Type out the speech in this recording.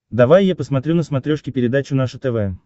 давай я посмотрю на смотрешке передачу наше тв